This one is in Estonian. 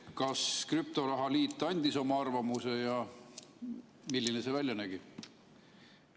Kas krüptoraha liit andis oma arvamuse ja milline see välja nägi?